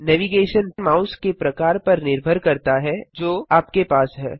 navigation mouse के प्रकार पर निर्भर करता है जो आपके पास है